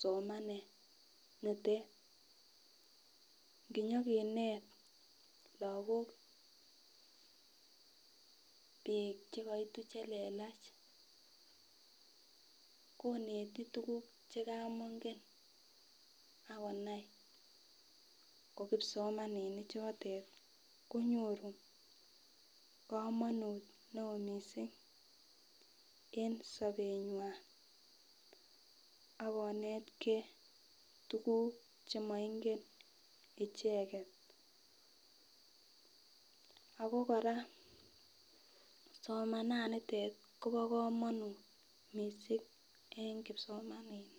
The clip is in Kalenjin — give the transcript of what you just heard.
somanet nitet nkinyo kinet lokok bik chekoitu chelelach koneti tukuk chekomongen akonai ko kipsomaninik chotet konyoru komonut neo missing en sobenywan akonetgee tukuk chekomongen icheket. Ako koraa somenanitet Kobo komonut missing en kipsomaninik.